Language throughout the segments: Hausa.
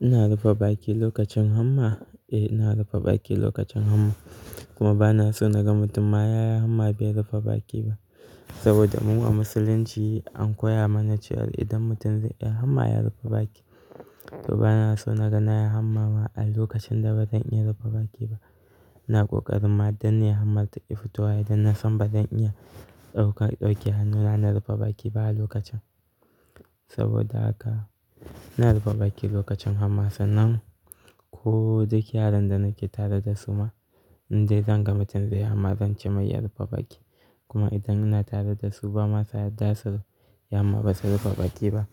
Ina rufe baki lokacin hamma? Eh, ina rufe baki lokacin hamma. Kuma ba na so na ga mutum ma yaya hamma bai rufe baki ba. Saboda mu a musulunci an koya mana cewa idan mutum zai yi hamma ya rufe baki. To ba na so na ga yaya hamma ba a lokacin da bazan iya rufe baki ba. Na ƙoƙari ma dan ne hammar taƙi fitowa idan na san bazan iya ɗaukan ɗauke hannuna na rufe baki ba a lokacin. Saboda haka ina rufe baki lokacin hamma sannan ko duk yaron da nake tare da su ma in dai zan ga mutum zai yi hamma zan ce mai ya rufe baki. Kuma idan ina tare da su ba ma sa yadda su yi hamma ba su rufe baki ba.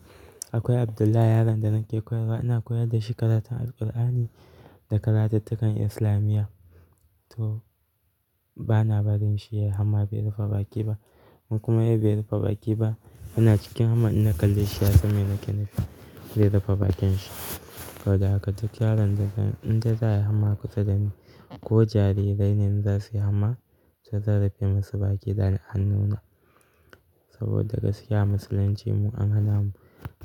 Akwai Abdullah yaron da nake koyarwa, ina koyar da shi karatun Alqur'ani da karatuttukan islamiya. To ba na barin shi ya yi hamma bai rufe baki ba. In kuma ya yi bai rufe baki ba, ana cikin hamma ina kalle shi ya san me ni ke nufi sai ya rufe bakin shi. Saboda haka duk yaron da zan, in dai za a yi hamma kusa da ni ko jarirai ne za su yi hamma, to zan rufe masu baki da hannuna. Saboda gaskiya musulunci mu an hana mu,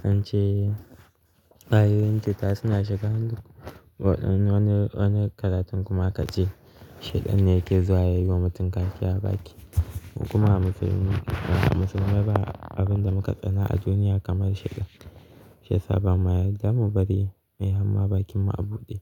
don ce a yoyin ta suna shiga wani, wani karatun kuma ka ce shaiɗan ne yake zuwa ya yi wa mutum kashi a baki. Kuma musulmi ba musulmai ba abin da muka tsana a duniya kamar shaiɗan. Shiyasa ba ma yadda mu bari ya yi hamma bakin mu a buɗe.